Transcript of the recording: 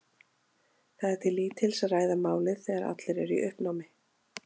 Það er til lítils að ræða málið þegar allir eru í uppnámi.